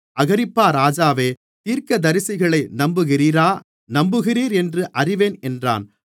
அகிரிப்பா ராஜாவே தீர்க்கதரிசிகளை நம்புகிறீரா நம்புகிறீர் என்று அறிவேன் என்றான்